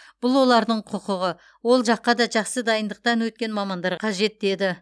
бұл олардың құқығы ол жаққа да жақсы дайындықтан өткен мамандар қажет деді